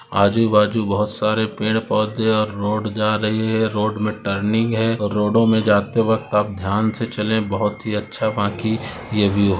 आजु बाजू बहुत सारे पड़े पौधे और रोड जा रही हैं रोड मे टर्निंग हैं और रोडॉ मे जाते वक्त आप ध्यान से चले बहुत ही अच्छा बाकी व्यू हैं।